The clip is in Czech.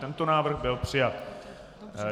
Tento návrh byl přijat.